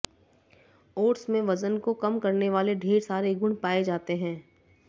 oats में वजन को कम करने वाले ढेर सारे गुण पाए जाते हैं